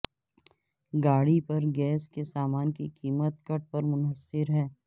گاڑی پر گیس کے سامان کی قیمت کٹ پر منحصر ہے